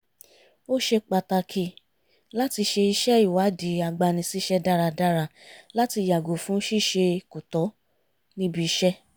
ó ṣe pàtàkì láti ṣe iṣẹ́ ìwádìí agbani-síṣẹ́ dáradára láti yàgò fún ṣíṣe kò tọ́ níbi iṣẹ́